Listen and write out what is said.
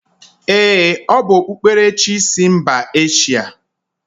Ee, o bu okpukperechi sI mba Eshia.